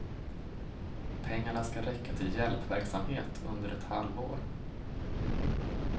Pengarna ska räcka till hjälpverksamhet under ett halvår.